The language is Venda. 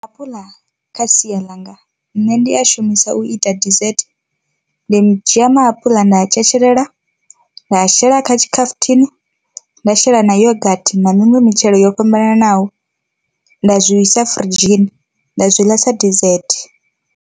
Maapuḽa kha sia langa nṋe ndi a shumisa u ita desert ndi dzhia maapuḽa nda tshetshelela nda shela kha tshikhafuthini nda shela na yogathi na miṅwe mitshelo yo fhambananaho nda zwi isa firidzhini nda zwi ḽa sa desert.